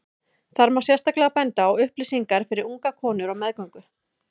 Þar má sérstaklega benda á upplýsingar fyrir ungar konur á meðgöngu.